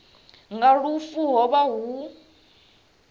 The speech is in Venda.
nga lufu ho vha hu